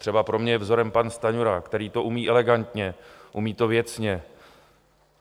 Třeba pro mě je vzorem pan Stanjura, který to umí elegantně, umí to věcně.